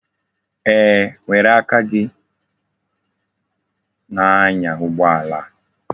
Eeh, were aka gi na-anya ugboala a.